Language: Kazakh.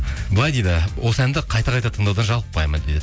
былай дейді осы әнді қайта қайта тыңдаудан жалықпаймын дейді